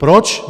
Proč?